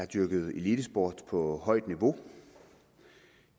dyrket elitesport på højt niveau